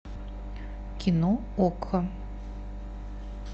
кино окко